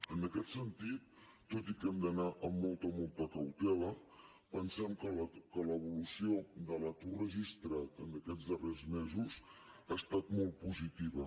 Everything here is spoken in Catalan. en aquest sentit tot i que hem d’anar amb molta molta cautela pensem que l’evolució de l’atur registrat en aquests darrers mesos ha estat molt positiva